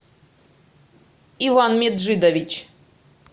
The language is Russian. иван меджидович